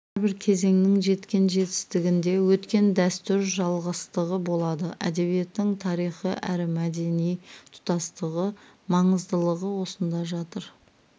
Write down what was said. әрбір кезеңнің жеткен жетістігінде өткен дәстүр жалғастығы болады әдебиеттің тарихы әрі мәдени тұтастылығы маңыздылығы осында жатыр